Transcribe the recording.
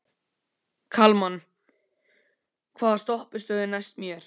Kalman, hvaða stoppistöð er næst mér?